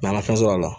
an ka fɛn sɔrɔ la